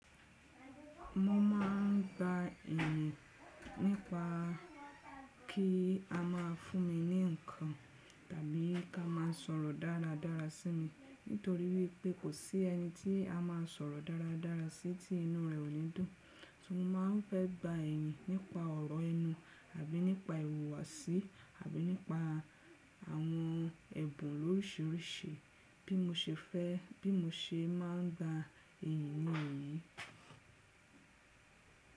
Mo máà ń gba iyìn nípa kí a má a fún mi ní ǹkan tàbí ká má a sọ̀rọ̀ dáradára sí mi nítorí wípé kò sí ẹni tí a máa sọ̀rọ̀ dáradára sí tí inú rẹ̀ ò ní dùn. Ti mo máa ń fẹ́ gba iyìn nípa ọ̀rọ̀ inú àbí nípa ìhùwàsí àbí nípa àwọn ẹ̀bùn lóríṣiríṣi bí mo se fẹ́ bí mo ṣe máa ń gba iyìn ní èyí.